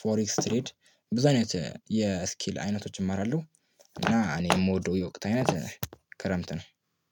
ፎሬክስ ትሬድ ብዙ አይነት የስኪል አይነቶችን እማራለሁ። እና እኔ የምወደው የወቅት አይነት ክረምት ነው